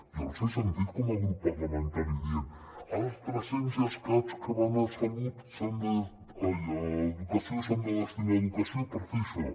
jo els he sentit com a grup parlamentari dient els tres cents i escaig que van a educació s’han de destinar a educació per fer això